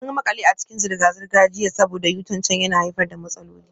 Mun makale a cikin zirga-zirga jiya saboda U-turn can yana haifar da matsaloli.